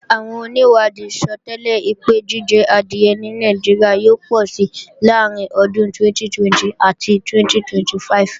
Àwọn onìwádìí sọtẹ́lẹ̀ pé jíjẹ adìẹ ní Nàìjíríà yóò pọ̀si láàrín ọdún 2020 àti 2025